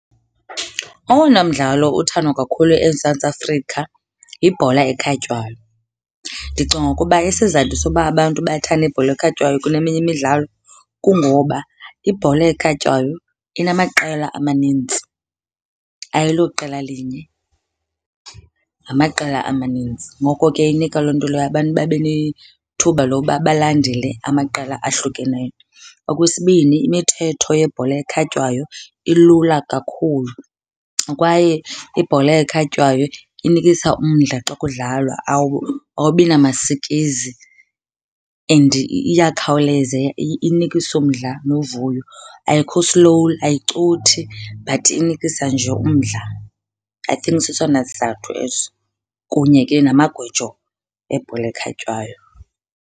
Owona mdlalo uthandwa kakhulu eMzantsi Afrika yibhola ekhatywayo. Ndicinga ukuba isizathu soba abantu bathande ibhola ekhatywayo kuneminye imidlalo, kungoba ibhola ekhatywayo inamaqela amanintsi. Ayiloqela linye, ngamaqela amanintsi. Ngoko ke inika loo nto leyo abantu babe nethuba loba balandele amaqela ahlukeneyo. Okwesibini, imithetho yebhola ekhatywayo ilula kakhulu kwaye ibhola ekhatywayo inikisa umdla xa kudlalwa, awubi namasikizi and iyakhawuleza inikisa umdla novuyo. Ayikho slow, ayicothi but inikisa nje umdla. I think sesona sizathu eso kunye ke namagwijo ebhola ekhatywayo.